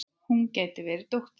Hún gæti verið dóttir mín.